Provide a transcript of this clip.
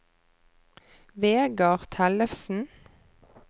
Vegar Tellefsen